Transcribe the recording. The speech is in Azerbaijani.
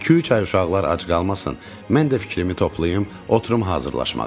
İki-üç ay uşaqlar ac qalmasın, mən də fikrimi toplayım, oturum hazırlaşmağa.